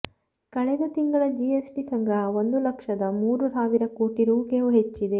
ಕಳೆದ ತಿಂಗಳ G S T ಸಂಗ್ರಹ ಒಂದು ಲಕ್ಷದ ಮೂರು ಸಾವಿರ ಕೋಟಿ ರೂ ಗೂ ಹೆಚ್ಚಿದೆ